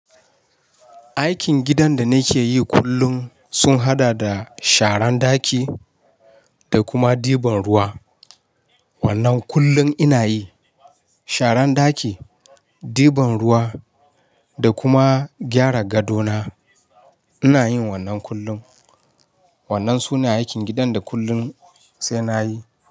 Aikin gidan da nake yi kullum sun haɗa da sharan ɗaki da kuma ɗiban ruwa. Wannan kullum ina yi. Sharan ɗaki, ɗiban ruwa da kuma gyara gadona. Ina yin wannan kullum. Wannan suna aikin gidan da kullum sai na yi.